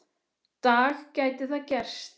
dag gæti það gerst.